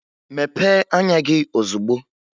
Mepee anya gị ozugbo!